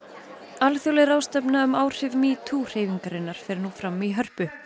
alþjóðleg ráðstefna um áhrif metoo hreyfingarinnar fer nú fram í Hörpu